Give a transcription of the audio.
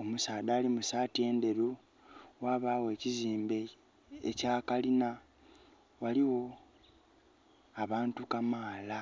omusaadha ali mu saati endheru, ghabagho ekiziimbe ekya kalina. Ghaligho abantu kamaala.